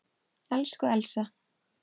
Elsku Elsa.